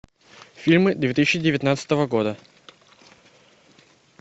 фильмы две тысячи девятнадцатого года